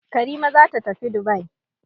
Karima za ta tafi Dubai.